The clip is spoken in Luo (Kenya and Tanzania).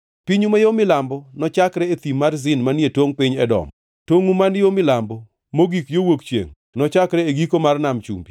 “ ‘Pinyu ma yo milambo nochakre e Thim Zin manie tongʼ piny Edom. Tongʼu ma yo milambo mogik yo wuok chiengʼ nochakre e giko mar Nam Chumbi